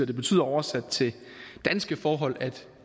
det betyder oversat til danske forhold at